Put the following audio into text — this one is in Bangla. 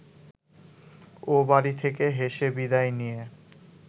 ও বাড়ি থেকে হেসে বিদায় নিয়ে